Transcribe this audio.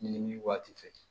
Ɲini waati fɛ